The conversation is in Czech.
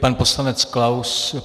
Pan poslanec Klaus.